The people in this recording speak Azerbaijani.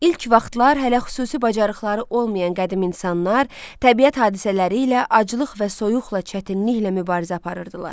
İlk vaxtlar hələ xüsusi bacarıqları olmayan qədim insanlar təbiət hadisələri ilə aclıq və soyuqla çətinliklə mübarizə aparırdılar.